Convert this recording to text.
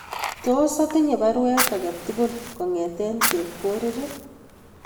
Tos atinye baruet age tugul kongeten Chepkorir